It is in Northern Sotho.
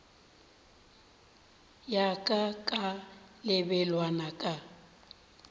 ya ka ka lebelwana ka